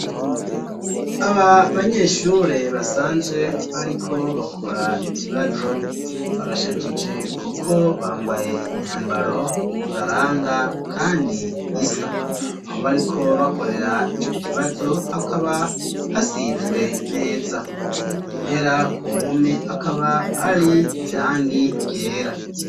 Aba banyeshure basanzwe bariko bakora ikibazo barashajije kuko bambaye imyambaro ibaranga kandi isa aho bariko bakorera ico kibazo hakaba hasizwe neza impera ku mpome hakaba hari irangi ryera.